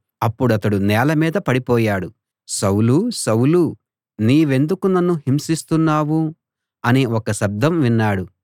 అప్పుడతడు నేల మీద పడిపోయాడు సౌలూ సౌలూ నీవెందుకు నన్ను హింసిస్తున్నావు అనే ఒక శబ్దం విన్నాడు